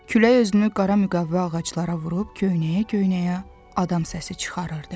Külək özünü qara müqavva ağaclara vurub, köynəyə-köynəyə adam səsi çıxarırdı.